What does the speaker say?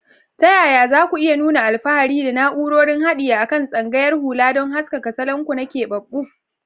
Ta yaya za ku iya nuna alfahari da na'urorin haɗi a kan tsayawar hula don haskaka salon ku na keɓaɓɓu?